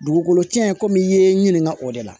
Dugukolo cɛn komi i ye n ɲininka o de la